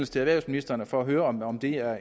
til erhvervsministeren for at høre om om det er